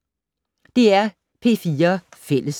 DR P4 Fælles